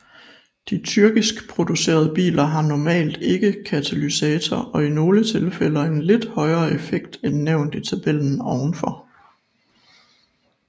De tyrkiskproducerede biler har normalt ikke katalysator og i nogle tilfælde en lidt højere effekt end nævnt i tabellen ovenfor